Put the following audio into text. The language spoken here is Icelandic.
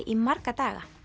í marga daga